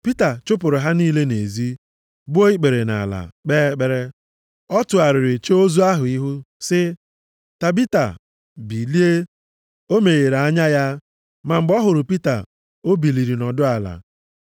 Pita chụpụrụ ha niile nʼezi, gbuo ikpere nʼala, kpee ekpere. Ọ tụgharịrị chee ozu ahụ ihu sị, “Tabita, bilie.” O meghere anya ya, ma mgbe ọ hụrụ Pita, o biliri, nọdụ ala.